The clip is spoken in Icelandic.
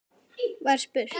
var spurt.